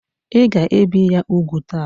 Ị ga ebi kwa ya úgwù ta!